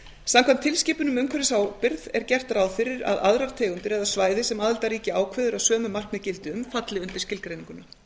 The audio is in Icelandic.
samkvæmt tilskipun um umhverfisábyrgð er gert ráð fyrir að aðrar tegundir eða svæði sem aðildarríki ákveður að sömu markmið gildi um falli undir skilgreininguna